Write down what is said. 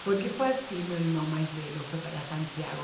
Porque foi assim, meu irmão mais velho foi para Santiago.